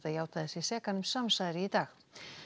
játaði sig sekan um samsæri í dag